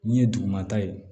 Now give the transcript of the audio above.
Min ye dugumata ye